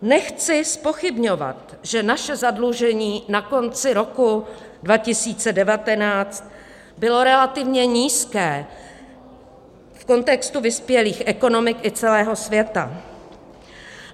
Nechci zpochybňovat, že naše zadlužení na konci roku 2019 bylo relativně nízké v kontextu vyspělých ekonomik i celého světa.